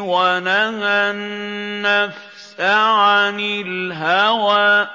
وَنَهَى النَّفْسَ عَنِ الْهَوَىٰ